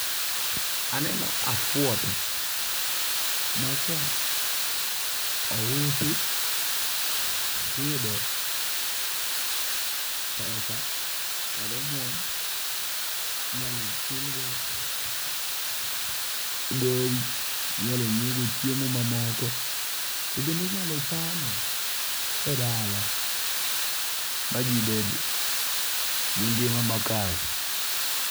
Aneno afwoto maka ousi tiyudo pesa kata omwom minyalo chulgo gowi. Inyalo nyiew go chiemo mamoko. To bende inyalo chame e dala ma ji bed gi ngima makare.